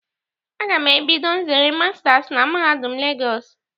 A ga m ebido nzere masters na mahadum Lagos